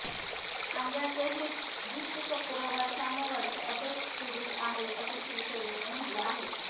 कांद्याचे हे दुष्टचक्र वर्षानुवर्षे असेच सुरू आहे असं शिवसेनेने म्हटलं आहे